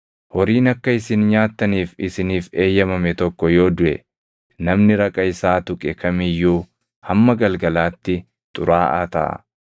“ ‘Horiin akka isin nyaattaniif isiniif eeyyamame tokko yoo duʼe, namni raqa isaa tuqe kam iyyuu hamma galgalaatti xuraaʼaa taʼa.